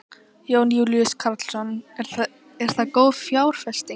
Jón Júlíus Karlsson: Er það góð fjárfesting?